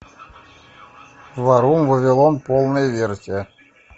варум вавилон полная версия